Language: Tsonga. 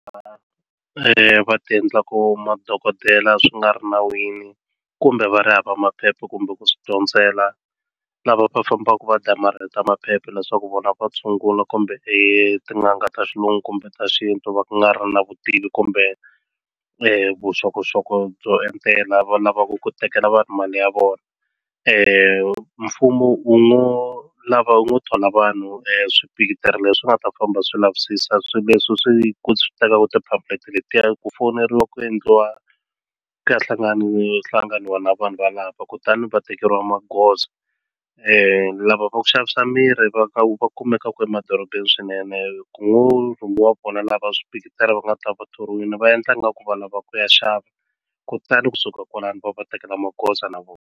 va ti endlaku madokodela swi nga ri nawini kumbe va ri hava maphepha kumbe ku swi dyondzela lava va fambaka va damarheta maphepha leswaku vona va tshungula kumbe tin'anga ta xilungu kumbe ta xintu va nga ri na vutivi kumbe vuxokoxoko byo endlela va lava ku tekela vanhu mali ya vona mfumo wu ngo lava wu ngo thola vanhu leswi nga ta famba swi lavisisa swilo leswi swi tekaka letiya ku foneriwa ku endliwa ku ya hlanganiwa na vanhu valava kutani va tekeriwa magoza lava va ku xavisa mirhi va ka va kumekaku emadorobeni swinene ku ngo rhumiwa vona lava swi va nga ta va thoriwile va endla nga ku va lava ku ya xava kutani kusuka kwalano va va tekela magoza na vona.